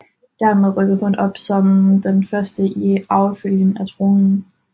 Dermed rykkede hun op som den første i arvefølgen til tronen